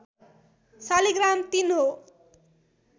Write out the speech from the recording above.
शालिग्राम ३ हो